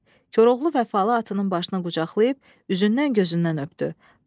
Koroğlu vəfalı atının başını qucaqlayıb üzündən gözündən öpdü.